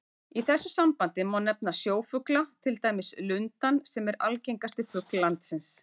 Í þessu sambandi má nefna sjófugla, til dæmis lundann sem er algengasti fugl landsins.